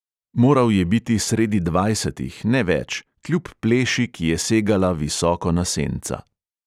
Moral je biti sredi dvajsetih, ne več, kljub pleši, ki je segala visoko na senca.